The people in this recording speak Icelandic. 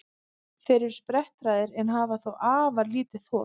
Þeir eru sprettharðir en hafa þó afar lítið þol.